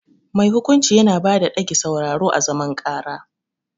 Mai hukunci Yana bada dage sauraron à zaman karà.